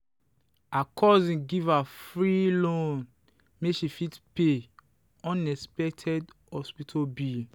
her cousin give her free loan make she fit pay unexpected hospital bill.